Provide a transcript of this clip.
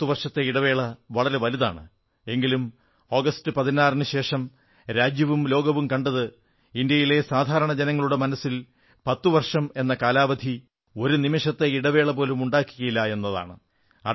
10 വർഷത്തെ ഇടവേള വളരെ വലുതാണ് എങ്കിലും ആഗസ്റ്റ് 16 ന് ശേഷം രാജ്യവും ലോകവും കണ്ടത് ഇന്ത്യയിലെ സാധാരണ ജനങ്ങളുടെ മനസ്സിൽ പത്തുവർഷമെന്ന കാലാവധി ഒരു നിമിഷത്തെ ഇടവേളപോലും ഉണ്ടാക്കിയില്ല എന്നാണ്